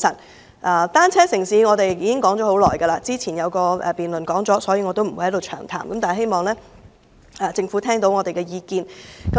我們提出"單車城市"已多年，之前有一項辯論亦與此有關，我不會在此詳談，但希望政府聆聽我們的意見。